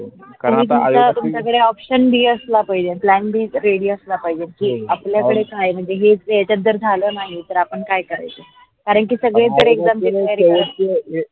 हो तुम्ह्च्या कडे option असला पाहिजे अन plan b ready असला पाहिजे. कि आपल्या कडे काय म्हनजे हे जे याचत जर झालं मग आपण काय करायेच कारण सगळे एक दामची तयारी केली